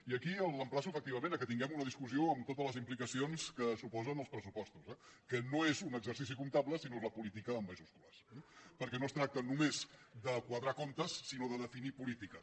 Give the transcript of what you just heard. i aquí l’emplaço efectivament que tinguem una discussió amb totes les implicacions que suposen els pressupostos eh que no és un exercici comptable sinó que és la política amb majúscules perquè no es tracta només de quadrar comptes sinó de definir polítiques